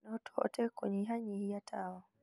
No tũhote kũnyihianyihia tawa